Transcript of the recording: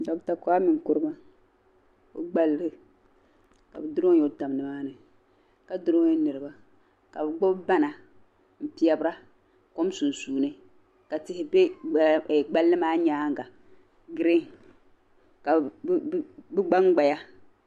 Docter kwame Nkurumah. ogbali kabi duro n yɔ tam nimaani ka duronyi niriba kabi gbubi bana n pɛbira kom sunsuuni ka tihi bɛ gbali maa nyaanga green kabi gban gbaya